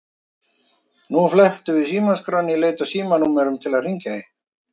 Við flettum símaskránni í leit að símanúmerum til að hringja í.